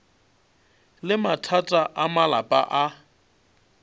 le mathata a malapa a